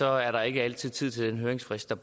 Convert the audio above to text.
er der ikke altid tid til den høringsfrist der